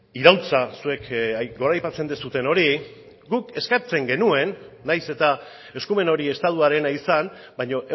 iraultza zuek goraipatzen duzuen hori guk eskatzen genuen nahiz eta eskumen hori estatuarena izan baina